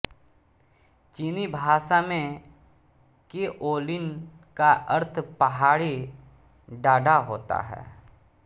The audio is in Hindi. चीनी भाषा में केओलिन का अर्थ पहाड़ी डाँडा होता है